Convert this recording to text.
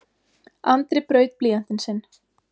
Andri braut blýantinn sinn.